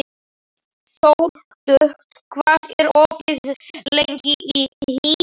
Sóldögg, hvað er opið lengi í HÍ?